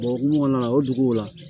O hukumu kɔnɔna la o duguw la